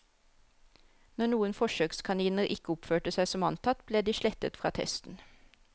Når noen forsøkskaniner ikke oppførte seg som antatt, ble de slettet fra testen.